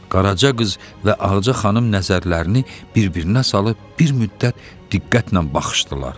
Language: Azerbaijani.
Qaraca qız və Ağaca xanım nəzərlərini bir-birinə salıb bir müddət diqqətlə baxışdılar.